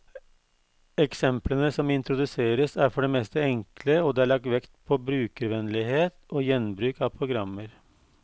Eksemplene som introduseres, er for det meste enkle, og det er lagt vekt på brukervennlighet og gjenbruk av programmer.